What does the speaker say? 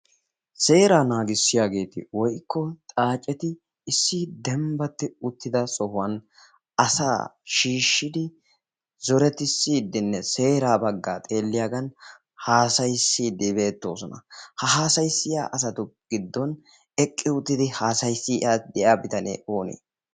Seeraa naagissiyaageeti woikko xaaceti issi dembbatti uttida sohuwan asaa shiishshidi zoretissiiddinne seeraa baggaa xeelliyaagan haasayissiiddi beetto osona ha haasayissiya asatu giddon eqqi uttidi haasayissi de'iya bitanee oonee?